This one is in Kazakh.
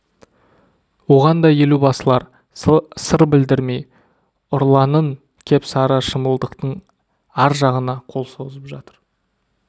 оған да елубасылар сыр білдірмей ұрланын кеп сары шымылдықтың ар жағына қол созып жатыр